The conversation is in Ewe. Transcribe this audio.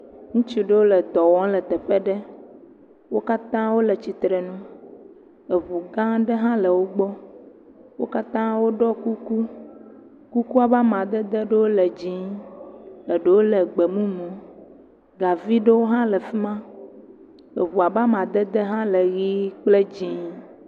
Ŋutsu ɖewo ledɔ wɔm le teƒe ɖe. Wo katã wole tsitrenu. Eŋugã aɖe hã le wogbɔ. Wo katã woɖɔ kuku. Kuku ƒe amadede ɖewo le dzɛ̃ɛ̃, eɖewo le gbemumu. Gavi ɖewo hã le fi ma. Eŋua ƒe amadede tsɛ le ʋie kple dzɛ̃ɛ̃